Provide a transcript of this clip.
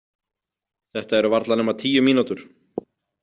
Þetta eru varla nema tíu mínútur.